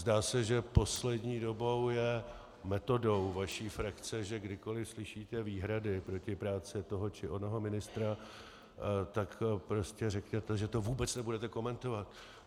Zdá se, že poslední dobou je metodou vaší frakce, že kdykoliv slyšíte výhrady proti práci toho či onoho ministra, tak prostě řeknete, že to vůbec nebudete komentovat.